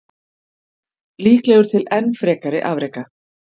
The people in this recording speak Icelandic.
Líklegur til enn frekari afreka.